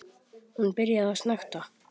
Hún byrjar að snökta.